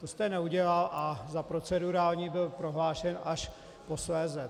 To jste neudělal, a za procedurální byl prohlášen až posléze.